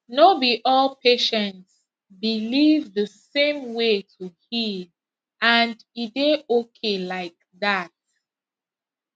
no be all patients believe the same way to heal and e dey okay like that